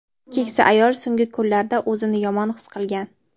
keksa ayol so‘nggi kunlarda o‘zini yomon his qilgan.